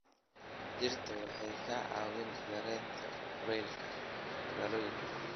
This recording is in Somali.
Dhirta waxay ka caawiyaan yareynta kulaylka magaalooyinka.